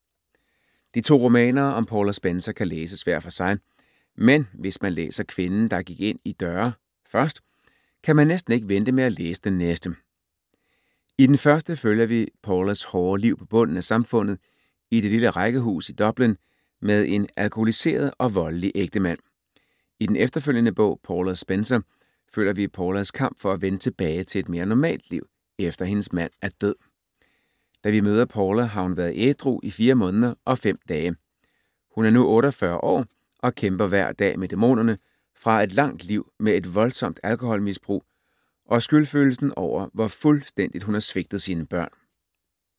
De to romaner om Paula Spencer kan læses hver for sig, men hvis man læser Kvinden der gik ind i døre først, kan man næsten ikke vente med at læse den næste. I den første følger vi Paulas hårde liv på bunden af samfundet i det lille rækkehus i Dublin med en alkoholiseret og voldelig ægtemand. I den efterfølgende bog Paula Spencer, følger vi Paulas kamp for at vende tilbage til et mere normalt liv, efter hendes mand er død. Da vi møder Paula, har hun været ædru i fire måneder og fem dage. Hun er nu 48 år og kæmper hver dag med dæmonerne fra et langt liv med et voldsomt alkoholmisbrug og skyldfølelsen over, hvor fuldstændigt hun har svigtet sine børn.